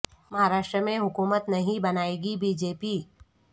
مہاراشٹر میں حکومت نہیں بنائے گی بی جے پی